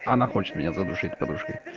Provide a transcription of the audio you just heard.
она хочет меня задушить подушкой